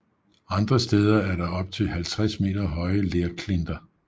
Andre steder er der op til 50 meter høje lerklinter